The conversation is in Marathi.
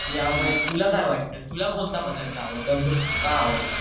ह्या मुळे तुला काय वाटतं तुला कोणता पदार्थ आवडतो आणि तो का आवडतो